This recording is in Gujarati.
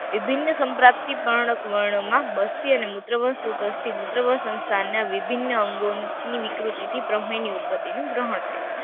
વિભિન્ન સંપ્રાપ્તિ પણ વર્ણપ વસી અને મૂત્ર મૂત્ર વસ્થાન ના વિભિન્ન અંગો ની વિકૃતિ થી પ્રમેય ની ઉત્પત્તિ નું ગ્રહણ થાય છે.